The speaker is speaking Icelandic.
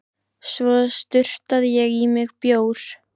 Svo sturtaði ég í mig bjór.